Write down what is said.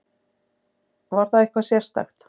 Var það eitthvað sérstakt?